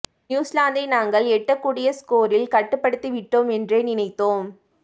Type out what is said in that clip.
நியூசிலாந்தை நாங்கள் எட்டக் கூடிய ஸ்கோரில் கட்டுப்படுத்திவிட்டோம் என்றே நினைத்தோம்